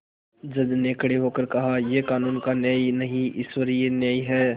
जज ने खड़े होकर कहायह कानून का न्याय नहीं ईश्वरीय न्याय है